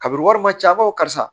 Kabini wari man ca an b'a fɔ karisa